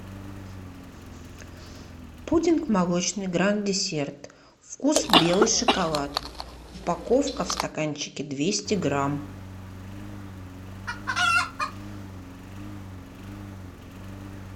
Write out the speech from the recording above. пудинг молочный гранд десерт вкус белый шоколад упаковка в стаканчике двести грамм